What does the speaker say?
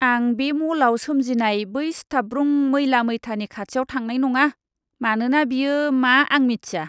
आं बे म'लआव सोमजिनाय बै सिथाबब्रुं मैला मैथानि खाथियाव थांनाय नङा, मानोना बेयो मा आं मिथिया!